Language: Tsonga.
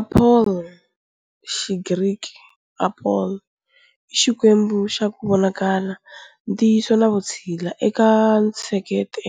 Apollo, Xigriki-Apóllon, i xikwembu xa ku vonakala, ntiyiso na vutshila eka ntsheketo